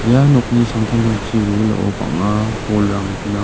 ia nokni samtangtangchi wilwilao bang·a bolrang gnang.